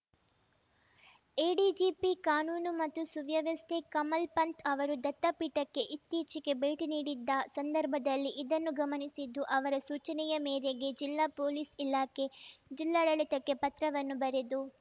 ADGP ಕಾನೂನು ಮತ್ತು ಸುವ್ಯವಸ್ಥೆ ಕಮಲ್‌ ಪಂಥ್‌ ಅವರು ದತ್ತಪೀಠಕ್ಕೆ ಇತ್ತೀಚೆಗೆ ಭೇಟಿ ನೀಡಿದ್ದ ಸಂದರ್ಭದಲ್ಲಿ ಇದನ್ನು ಗಮನಿಸಿದ್ದು ಅವರ ಸೂಚನೆಯ ಮೇರೆಗೆ ಜಿಲ್ಲಾ ಪೊಲೀಸ್‌ ಇಲಾಖೆ ಜಿಲ್ಲಾಡಳಿತಕ್ಕೆ ಪತ್ರವನ್ನು ಬರೆದು